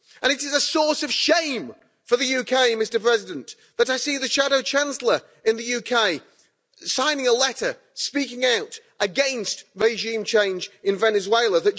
And it is a source of shame for the UK, Mr President, that I see the Shadow Chancellor in the UK signing a letter speaking out against regime change in Venezuela.